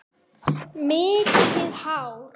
Mikið hár.